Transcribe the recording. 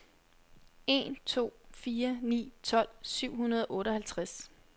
en to fire ni tolv syv hundrede og otteoghalvtreds